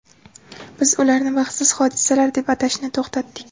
Biz ularni baxtsiz hodisalar deb atashni to‘xtatdik.